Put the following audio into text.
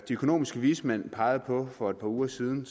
de økonomiske vismænd pegede på for et par uger siden